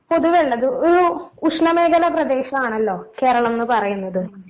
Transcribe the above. പൊതുവേള്ളത് ഒരു ഉഷ്‌ണമേഖലാ പ്രദേശാണല്ലോ കേരളംന്ന് പറയുന്നത്.